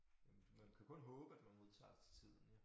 Man kan kun håbe at man modtager det til tiden jo